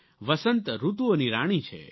વસંત ઋતુઓની રાણી છે